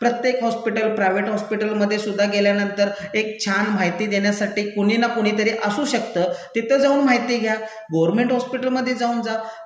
प्रत्येक hospital, private हॉस्पिटलमधेसुद्धा गेल्यानंतर एक छान माहिती देण्यासाठी कुणीना कुणीतर असू शक्त तिथं जाऊन माहिती घ्या, गर्व्हनमेंट हॉस्पिटलमधे जाऊन जा,